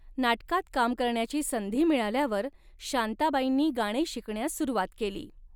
नाटकात काम करण्याची संधी मिळाल्यावर शांताबाईनी गाणे शिकण्यास सुरुवात केली.